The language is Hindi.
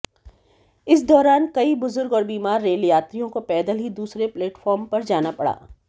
इस दौरान कई बुजुर्ग और बीमार रेल यात्रियों को पैदल ही दूसरे प्लेटफॉर्म जाना पड़ा